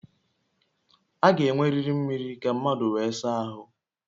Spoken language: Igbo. A ga-enweriri mmiri ka mmadụ wee saa ahụ